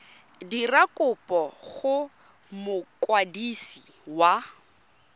dira kopo go mokwadisi wa